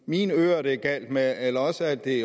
mine ører det er galt med eller også er det